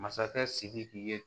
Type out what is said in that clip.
Masakɛ sidiki ye